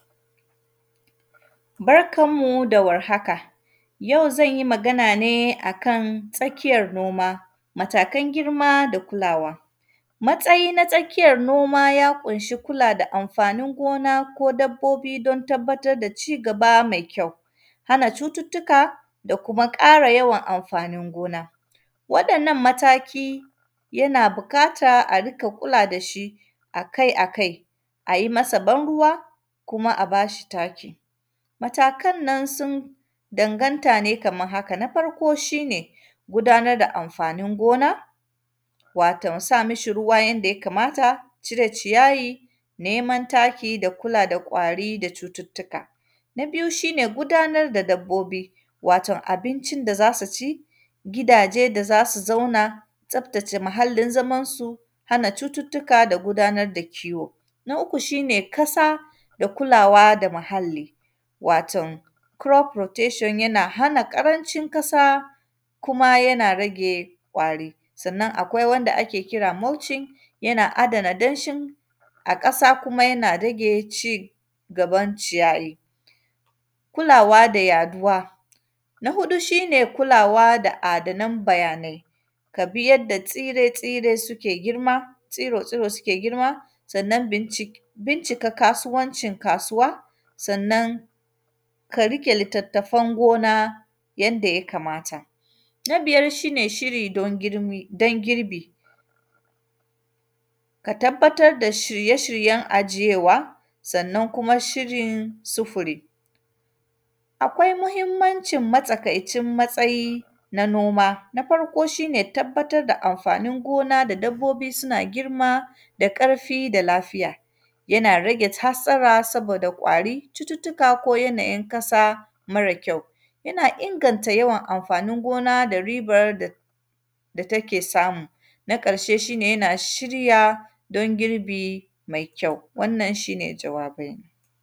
Barkan mu da warhaka, yau zan yi magana ne a kan tsakiyar noma, matakan girma da kulawa. Matsayi na tsakiyar noma, ya ƙunshi kula da amfanin gona ko dabbobi don tabbatar da cigaba mai kyau, hana cututtuka da kuma ƙara yawan amfanin gona. Waɗannan mataki, yana bikata a rika kula da shi a kai a kai. A yi masa ban-ruwa kuma a ba shi taki, matakan nan sun danganta ne kaman haka. Na farko, shi ne gudanar da amfanin gona, waton sa mishi ruwa yanda ya kamata, cire ciyayi, neman taki da kula da ƙwari da cututtuka. Na biyu, shi ne gudanar da dabbobi, waton abincin da za su ci, gidaje da za su zauna, tsaftace muhallin zamansu, hana cututtuka da gudanar da kiwo. Na uku, shi ne kasa da kulawa da mahalli, waton, “crop rotation” yana hana ƙarancin kasa kuma yana rage ƙwari. Sannan, akwai wanda ake kira “mauching”, yana adana danshin, a ƙasa kuma yana rage ci gaban ciyayi. Kulawa da yaduwa, na huɗu, shi ne kulawa da adanan bayanai, ka bi yadda tsire-tsire sike girma, tsuro-tsuro sike girma. Sannan, binci; bincika kasuwancin kasuwa, sannan, ka rike litattafan gona yanda ya kamata. Na biyar, shi ne shiri don girmi; don girbi, ka tabbatar da shirye-shiryen ajiyewa, sannan kuma shhirin sufuri. Akwai muhimmancin matsakaicin matsayi na noma. Na farko, shi ne tabbatar da amfanin gona da dabbobi suna girma da ƙarfi da lafiya, yana rage t; hatstsara, saboda ƙwari, cututtuka ko yanayin kasa, mara kyau. Yana inganta yawan amfanin gona da ribar da; da take samu. Na ƙarshe, shi ne yana shirya don girbi me kyau, wannan, shi ne jawabaina.